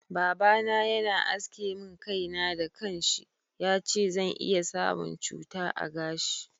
Baba na Yana aske min kai na da kansa, yace zan iya samun cuta a gashi.